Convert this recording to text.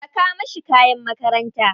Saka mashi kayan makaranta.